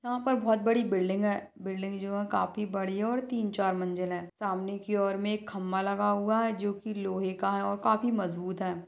यहाँ पर बहोत बड़ी बिल्डिंग हैं बिल्डिंग जो हैं काफी बड़ी हैं और तीन चार मंजिल हैं सामने की ओर मे एक खंबा लगा हुआ हैं जोकि लोहे का हैं और काफी मजबूत हैं।